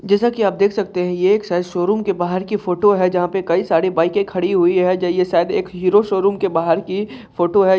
जैसा की आप देख सकते यह एक श-शोरूम के बाहर की फोटो है। जहाँ पर कई सारी बाइके खड़ी हुई है। जो ये शायद हीरो शोरूम के बहार की फोटो है।